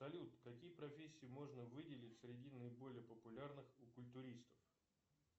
салют какие профессии можно выделить среди наиболее популярных у культуристов